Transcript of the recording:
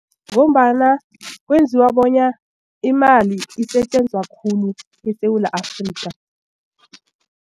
Ngombana kwenziwa bonyana imali isetjenzwa khulu eSewula Afrika.